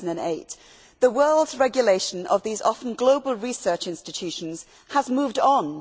2008. The world's regulation of these often global research institutions has moved on.